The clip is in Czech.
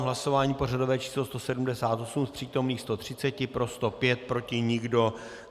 V hlasování pořadové číslo 178 z přítomných 130 pro 105, proti nikdo.